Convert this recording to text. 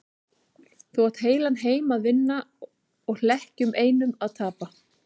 Þú átt heilan heim að vinna og hlekkjunum einum að tapa.